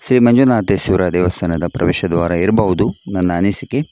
ಶ್ರೀ ಮಂಜುನಾಥೇಶ್ವರ ದೇವಸ್ಥಾನದ ಪ್ರವೇಶ ದ್ವಾರ ಇರಬಹುದು ನನ್ನ ಅನಿಸಿಕೆ.